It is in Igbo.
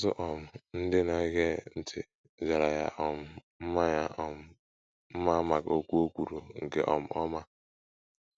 Ọtụtụ um ndị na - ege ntị jara ya um mma ya um mma maka okwu o kwuru nke um ọma.